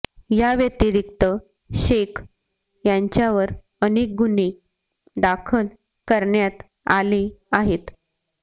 याव्यतिरीक्त शेख याच्यावर अनेक गुन्हे दाखल करण्यात आले आहेत